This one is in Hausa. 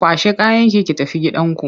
Kwashe kayanki ki tafi gidanku!